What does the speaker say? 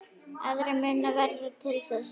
Aðrir munu verða til þess.